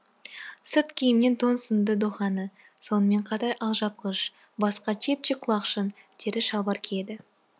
сырт киімнен тон сынды доханы сонымен қатар алжапқыш басқа чепчик құлақшын тері шалбар киеді